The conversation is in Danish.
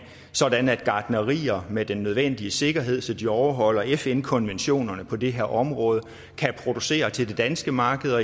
sådan at gartnerier med den nødvendige sikkerhed så de overholder fn konventionerne på det her område kan producere til det danske marked og